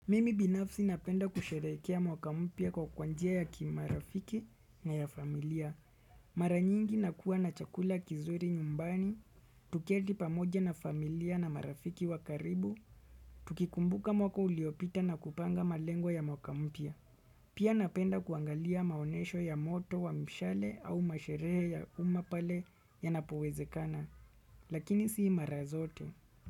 Mimi binafsi napenda kusherehekea mwaka mpya kwa njia ya kimarafiki na ya familia. Mara nyingi nakuwa na chakula kizuri nyumbani, tuketi pamoja na familia na marafiki wa karibu, tukikumbuka mwaka uliopita na kupanga malengo ya mwaka mpya. Pia napenda kuangalia maonesho ya moto wa mshale au masherehe ya umma pale yanapowezekana, lakini si mara zote.